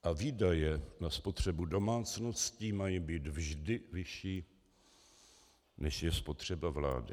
A výdaje na spotřebu domácností mají být vždy vyšší, než je spotřeba vlády.